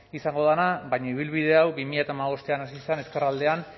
izango dena baina ibilbide hau bi mila hamabostean hasi zen ezkerraldean